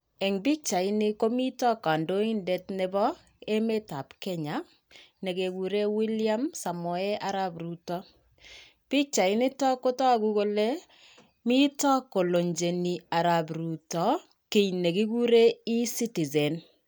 Eng pichaini komito kondoindet nebo emeetap Kenya nekekure William Samoei araap Ruto. Pichainitok kotogu kole mitoi koloncheni arap Ruto kiiy nekikure e-citizen.